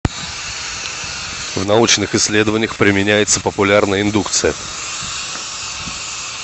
в научных исследованиях применяется популярная индукция